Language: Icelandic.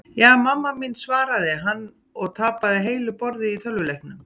Ja, mamma mín svaraði hann og tapaði heilu borði í tölvuleiknum.